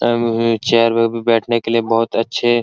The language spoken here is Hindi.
चेयर में भी बैठने के लिए बहुत अच्छे --